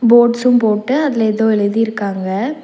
Boards போட்டு அதுல ஏதோ எழுதிருக்காங்க.